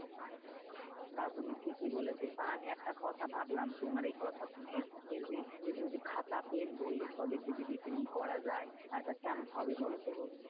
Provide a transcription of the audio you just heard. তা তুমি ঠিকই বলেছো, তা আমি একটা কথা ভাবলাম তোমার এই কথা শুনে যে, যদি খাতা, পেন, বই এসবের যদি retailing করা যায় আহ তা কেমন হবে বলতো?